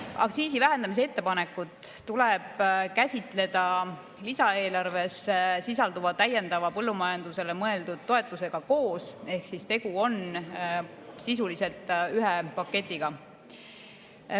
Aktsiisi vähendamise ettepanekut tuleb käsitleda lisaeelarves sisalduva täiendava põllumajandusele mõeldud toetusega koos ehk tegu on sisuliselt ühe paketiga.